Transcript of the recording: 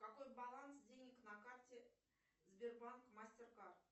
какой баланс денег на карте сбербанк мастеркард